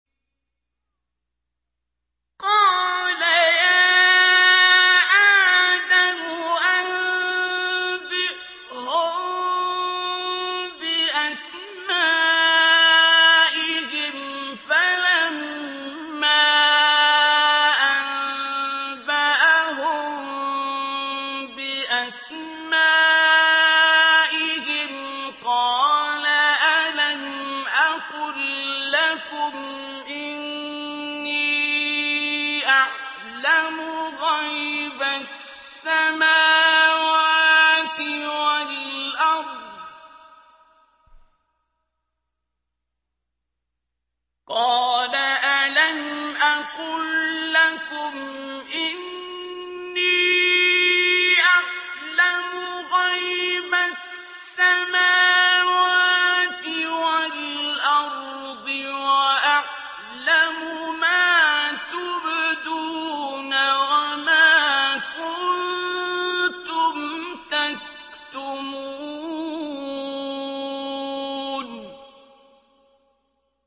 قَالَ يَا آدَمُ أَنبِئْهُم بِأَسْمَائِهِمْ ۖ فَلَمَّا أَنبَأَهُم بِأَسْمَائِهِمْ قَالَ أَلَمْ أَقُل لَّكُمْ إِنِّي أَعْلَمُ غَيْبَ السَّمَاوَاتِ وَالْأَرْضِ وَأَعْلَمُ مَا تُبْدُونَ وَمَا كُنتُمْ تَكْتُمُونَ